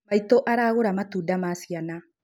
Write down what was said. Maitũ aragũra matunda ma ciana